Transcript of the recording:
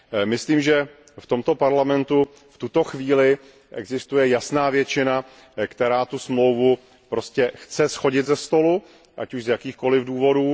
Myslím, že v tomto Parlamentu v tuto chvíli existuje jasná většina, která tu dohodu prostě chce shodit ze stolu, ať už z jakýchkoliv důvodů.